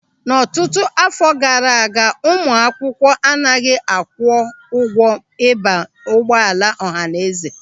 N'ọtụtụ áfọ̀ gaara aga, ụmụ akwụkwọ anaghị akwụ ụgwọ ịba n'ụgbọala ọhanaeze.